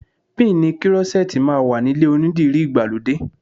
Píìnì krọ́ṣẹ́tì máa wà nílé onídìrí ìgbàlódé.